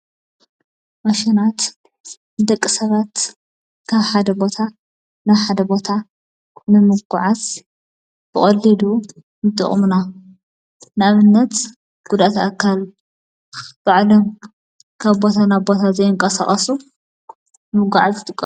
ማሽናት ደቂ ሰባት ካብ ሓደ ቦታ ናሓደ ቦታ ንምጐዓስ ብቀሊሉ ምጥቕምና ንኣብነት ጕዳኣት ኣካል ባዕሎም ካብቦታ ናቦታ ዘየንቋሠቐሱ ምጐዓዝ ዝጥቀምሎ።